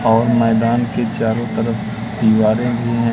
और मैदान के चारों तरफ दीवारें भी हैं।